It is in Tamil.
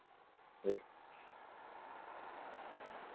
வை